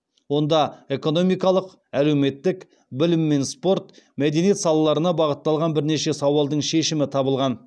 онда экономикалық әлеуметтік білім мен спорт мәдениет салаларына бағытталған бірнеше сауалдың шешімі табылған